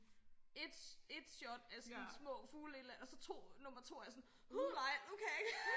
Ét ét shot af sådan små fugle et eller og så to nummer to er jeg sådan uh nej nu kan jeg ikke